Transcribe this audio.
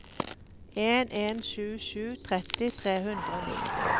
en en sju sju tretti tre hundre og ni